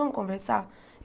Vamos conversar?